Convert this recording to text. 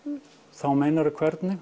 þá meinarðu hvernig